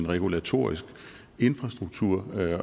regulatorisk infrastruktur